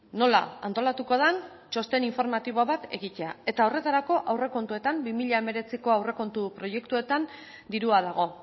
nola antolatuko den txosten informatibo bat egitea eta horretarako aurrekontuetan bi mila hemeretziko aurrekontu proiektuetan dirua dago